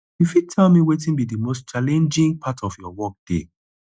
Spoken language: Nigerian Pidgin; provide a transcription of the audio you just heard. you fit tell me wetin be di most challenging part of your workday